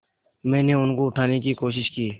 मैंने उनको उठाने की कोशिश की